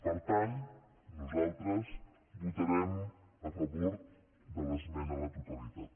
per tant nosaltres votarem a favor de l’esmena a la totalitat